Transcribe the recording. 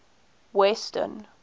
western